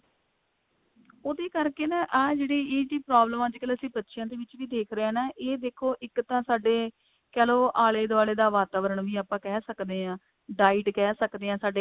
ਉਹਦੇ ਕਰਕੇ ਨਾ ਆਹ ਜਿਹੜੀ ਚੀਜ਼ ਦੀ problem ਅਸੀਂ ਬੱਚਿਆਂ ਦੇ ਵਿੱਚ ਵੀ ਦੇਖਦੇ ਹਾਂ ਨਾ ਇਹ ਦੇਖੋ ਇੱਕ ਤਾਂ ਸਾਡੇ ਕਹਿਲੋ ਆਲੇ ਦੁਆਲੇ ਦਾ ਵਾਤਾਵਰਨ ਵੀ ਕਹਿ ਸਕਦੇ ਹਾਂ diet ਕਹਿ ਸਕਦੇ ਹਾਂ ਸਾਡੇ